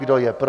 Kdo je pro?